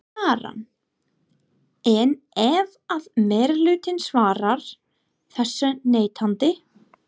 Karen: En ef að meirihlutinn svarar þessu neitandi?